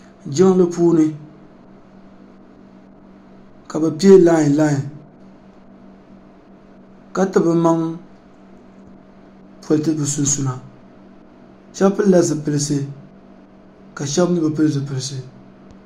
Jiŋli puuni ka bɛ piɛ lai lai ka ti bɛ maŋ politi bɛ sunsuuna shena pilila ziilsi ka sheba mee bi pili zipilsi.